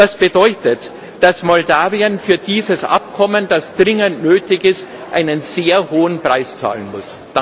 Das bedeutet, dass Moldau für dieses Abkommen, das dringend nötig ist, einen sehr hohen Preis zahlen muss.